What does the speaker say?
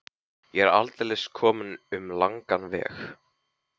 Ég er aldeilis kominn um langan veg.